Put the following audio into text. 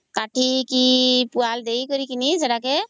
କତିକି ପୁଆ ଦେଇକରି ସେଟାକେ